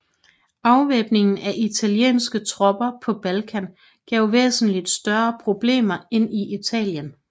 Afvæbningen af italienske tropper på Balkan gav væsentligt større problemer end i Italien